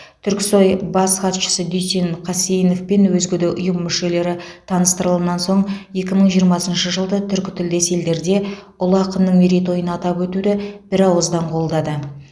түрксой бас хатшысы дүйсен қасейінов пен өзге де ұйым мүшелері таныстырылымнан соң екі мың жиырмасыншы жылды түркі тілдес елдерде ұлы ақынның мерейтойын атап өтуді бір ауыздан қолдады